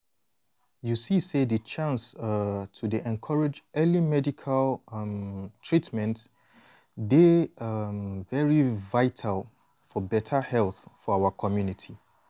you see sasy di chance um to dey encourage early medical um treatment dey um very vital for beta health for our community.